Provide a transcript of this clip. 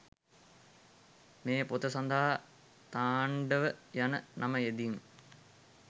මේ පොත සඳහා තාණ්ඩව යන නම යෙදීම